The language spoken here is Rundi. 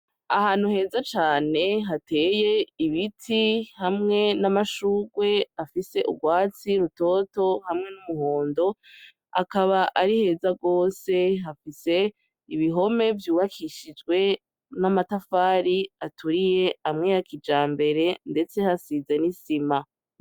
Ahantu heza cane hateye ibiti hamwe n'amashurwe afise urwatsi rutoto hamwe n'umuhondo, akaba ari heza rwose, hafise ibihome vyubakishijwe n'amatafari aturiye amwe ya kijambere, ndetse hasize n'isima.